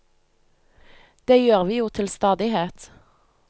Det gjør vi jo til stadighet.